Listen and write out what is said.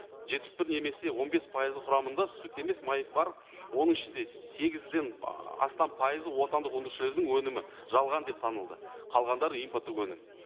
жетпіс бір немесе он бес пайызы құрамында сүт емес май бар оның ішінде сегізден астам пайызы отандық өндірушілердің өнімі жалған деп танылды қалғандары импорттық өнім